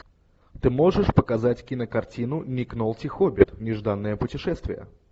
ты можешь показать кинокартину ник нолти хоббит нежданное путешествие